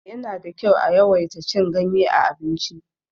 Yana da kyau a yawaita cin ganye a abinci.